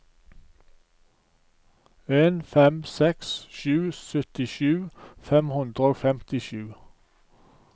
en fem seks sju syttisju fem hundre og femtisju